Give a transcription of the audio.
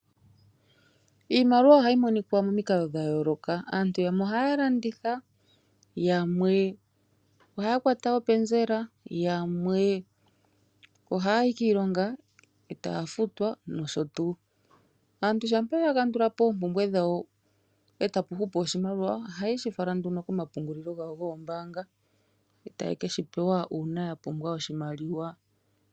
Iimaliwa ohayi monika momikalo dha yooloka. Aantu yamwe ohaya landitha, yamwe ohaya kwata openzela, yamwe ohaya yi kiilonga e taya futwa nosho tuu. Aantu shampa ya kandula po oompumbwe dhawo e tapu hupu oshimaliwa ohaye shi fala nduno komapungulilo gawo goombaanga e taye ke shi pewa uuna ya pumbwa oshimaliwa.